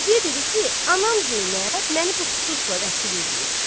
Qaziyə dedi ki, anam Zeynəb məni bu xususla vəkil eləyib.